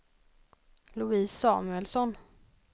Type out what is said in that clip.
Louise Samuelsson